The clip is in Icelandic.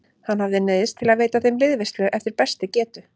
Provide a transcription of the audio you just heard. Hann hafði neyðst til að veita þeim liðveislu eftir bestu getu.